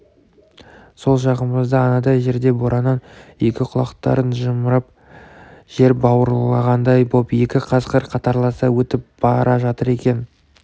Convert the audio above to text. сол жағымызда анадай жерде бораннан екі құлақтарын жымырып жер бауырлағандай боп екі қасқыр қатарласа өтіп бара жатыр екен